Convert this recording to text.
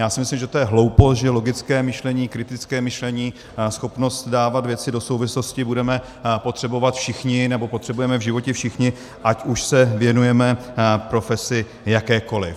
Já si myslím, že to je hloupost, že logické myšlení, kritické myšlení, schopnost dávat věci do souvislostí budeme potřebovat všichni, nebo potřebujeme v životě všichni, ať už se věnujeme profesi jakékoli.